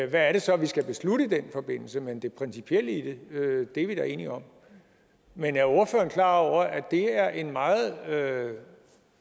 hvad det så er vi skal beslutte i den forbindelse men det principielle i det er vi da enige om men er ordføreren klar over at det er en meget